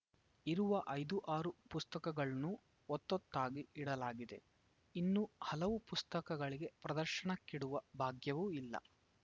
ಇರುವ ಐದು ಆರು ಪುಸ್ತಕಗಳ್ನು ಒತ್ತೊತ್ತಾಗಿ ಇಡಲಾಗಿದೆ ಇನ್ನು ಹಲವು ಪುಸ್ತಕಗಳಿಗೆ ಪ್ರದರ್ಶನಕ್ಕಿಡುವ ಭಾಗ್ಯವೂ ಇಲ್ಲ